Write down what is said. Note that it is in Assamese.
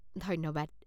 ধন্যবাদ।